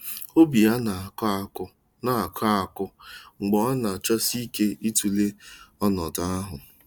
Obi ya na-akụ akụ na-akụ akụ mgbe ọ na-achọsị ike ịtụle ọnọdụ ahụ.